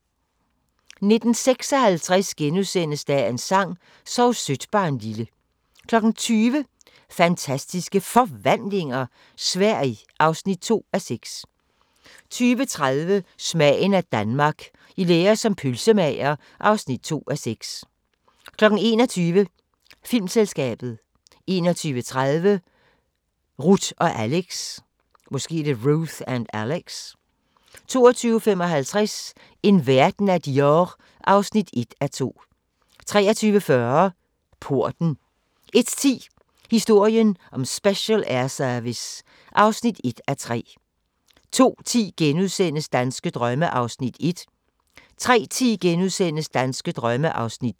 19:56: Dagens sang: Sov sødt barnlille * 20:00: Fantastiske Forvandlinger – Sverige (2:6) 20:30: Smagen af Danmark – I lære som pølsemager (2:6) 21:00: Filmselskabet 21:30: Ruth & Alex 22:55: En verden af Dior (1:2) 23:40: Porten 01:10: Historien om Special Air Service (1:3) 02:10: Danske drømme (1:10)* 03:10: Danske drømme (2:10)*